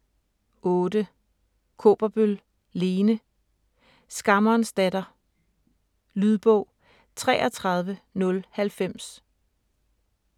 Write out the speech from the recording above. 8. Kaaberbøl, Lene: Skammerens datter Lydbog 33090